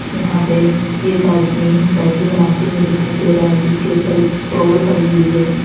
यहां पे एक आदमी दाढ़ी बनाते हुए दिखाई दे रहा है जिसके ऊपर एक टॉवेल पड़ी है।